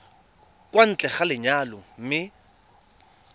kwa ntle ga lenyalo mme